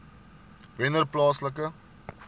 wennerplaaslike